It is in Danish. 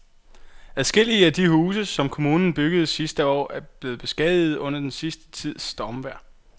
Adskillige af de huse, som kommunen byggede sidste år, er blevet beskadiget under den sidste tids stormvejr.